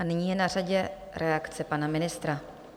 A nyní je na řadě reakce pana ministra.